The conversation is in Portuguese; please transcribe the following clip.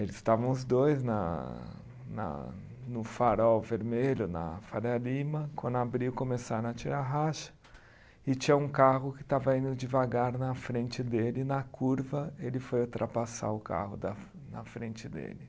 Eles estavam os dois na na no farol vermelho na Faria Lima, quando abriu começaram a tirar racha e tinha um carro que estava indo devagar na frente dele e na curva ele foi ultrapassar o carro da na frente dele.